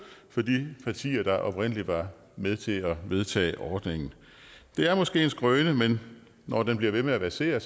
for de partier der oprindelig var med til at vedtage ordningen det er måske en skrøne men når den bliver ved med at versere